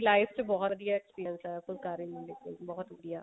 life ਚ ਬਹੁਤ ਵਧੀਆ experience ਹੈ ਫੁਲਕਾਰੀ ਕੱਢਣ ਆ